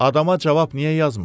Adama cavab niyə yazmırsan?